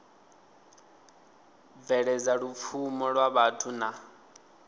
bveledza lupfumo lwa vhathu na